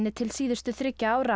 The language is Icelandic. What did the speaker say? til síðustu þriggja ára